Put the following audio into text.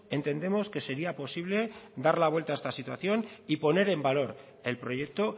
entendemos que sería posible dar la vuelta a esta situación y poner en valor el proyecto